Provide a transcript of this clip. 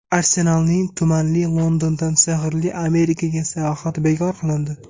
"Arsenal"ning tumanli Londondan sehrli Amerikaga sayohati bekor qilindi.